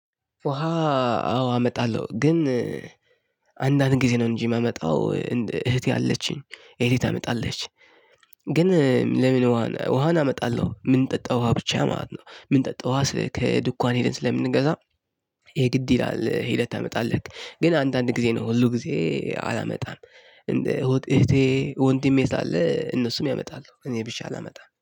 ውሃ አዎ አመጣለሁ። ግን አንዳንድ ጊዜ ነው እንጂ የማመጣው። እህቴ አለችኝ ሌሊት ታመጣለች። ግን ለምን ውሃ አመጣለሁ ምንጠጣ ውሃ ብቻ ማለት ነው። ምንጠጣ ውሃ ስልክ ድኳን ሄደን ስለምንገዛ ይሄ ግድ ይላል። ሄደህ ታመጣለህ ግን አንዳንድ ጊዜ ነው ሁል ጊዜ አላመጣም። እህቴ ወንድሜ ስላለ እነሱም ያመጣሉ እኔ ብቻ አላመጣም